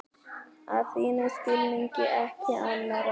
Að þínum skilningi, ekki annarra.